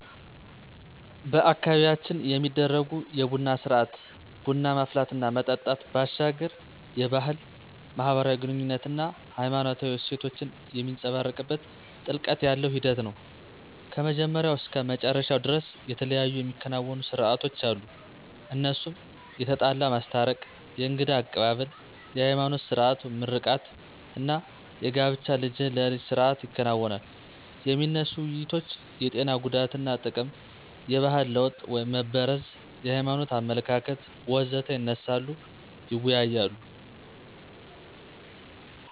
በአካባቢያችን የሚደረጉ የቡና ስርአት (ቡና ማፍላት እና መጠጣት) ባሻገር የባህል፣ ማህበራዊ ግኑኝነት አና ሃይማኖታዊ እሴቶችን የሚንፀባረቅበት ጥልቀት ያለው ሂደት ነው። ከመጀመሪያው እስከ መጨረሻው ደርስ የተለያዩ የሚከናወኑ ሰርአቶች አሉ እነሱም የተጣላ ማስታረቅ፣ የእንግዳ አቀባብል፣ የሀይማኖት ስርአት (ምርቃት) አና የጋብቻ ልጅህን ለልጀ ስርአት ይከናወናል። የሚነሱ ውይይቶች የጤና ጉዳትና ጥቅም፣ የባህል ለወጥ (መበረዝ) የሀይማኖት አመለካከት.... ወዘተ ይነሳሉ ይወያያሉ።